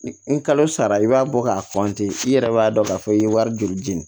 Ni kalo sara i b'a bɔ k'a fɔ ten i yɛrɛ b'a dɔn k'a fɔ i ye wari joli jeni